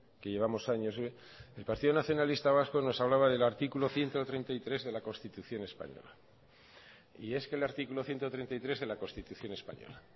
que llevamos años el partido nacionalista vasco nos hablaba del artículo ciento treinta y tres de la constitución española y es que el artículo ciento treinta y tres de la constitución española